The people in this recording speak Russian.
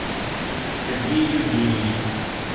сергей евгеньевич